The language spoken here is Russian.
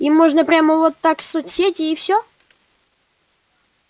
им можно прямо вот так в соцсети и всё